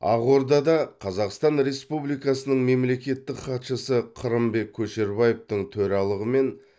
ақордада қазақстан республикасының мемлекеттік хатшысы қырымбек көшербаевтың төралығымен